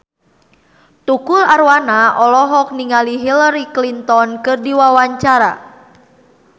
Tukul Arwana olohok ningali Hillary Clinton keur diwawancara